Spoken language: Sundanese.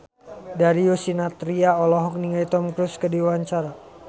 Darius Sinathrya olohok ningali Tom Cruise keur diwawancara